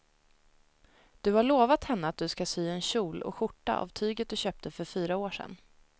Du har lovat henne att du ska sy en kjol och skjorta av tyget du köpte för fyra år sedan.